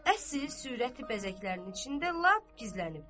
əsil sürəti bəzəklərinin içində lap gizlənibdir.